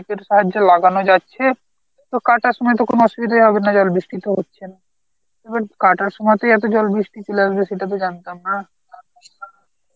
deep এর সাহায্যে লাগানো যাচ্ছে তো কাটার সময় তো কোনো অসুবিধাই হবে না, জল বৃষ্টি তো হচ্ছে না, এখন কাটার সময় তুই এত জল বৃষ্টি আসবে সেটা তো জানতাম না.